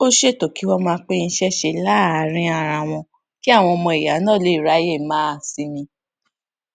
ó ṣètò kí wọn máa pín iṣẹ ṣe láàárín ara wọn kí àwọn ọmọ ìyá náà lè ráyè máa sinmi